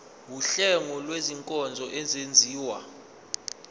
wuhlengo lwezinkonzo ezenziwa